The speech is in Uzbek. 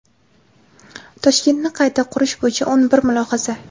Toshkentni qayta qurish bo‘yicha o‘n bir mulohaza.